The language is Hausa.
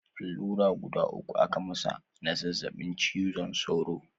Allura guda uku aka masa na zazzabin cizon saura